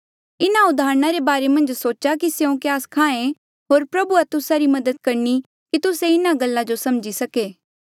इन्हा उदाहरणा रे बारे मन्झ सोचा कि स्यों क्या स्खायें होर प्रभुआ तुस्सा री मदद करणी कि तुस्से इन्हा गल्ला जो समझी सके